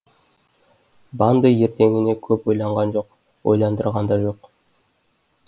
банды ертеңіне көп ойланған жоқ ойландырған да жоқ